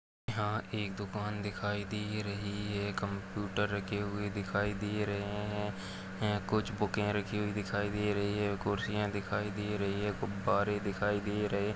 यहाँ एक दुकान दिखाई दे रही हैं कंप्यूटर रखे हुए दिखाई दे रहे है कुछ बुके रखी हुई दिखाई दे रही है कुर्सियां दिखाई दे रही हैं गुब्बारे दिखाई दे रहे हैं।